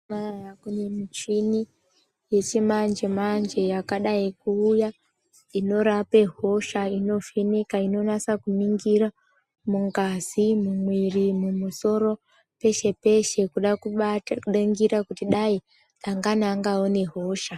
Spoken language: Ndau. Mazuva anawa kune michini yechimanje manje yakadai kuuya inorapa hosha inovheneka inonasa kuningira mungazi mumwiri mumusoro pese-pese kuda kubata kuningira kuda kuti dai dangani angaona hosha.